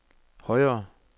højre